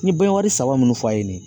N ye saba minnu fɔ a ye nin ye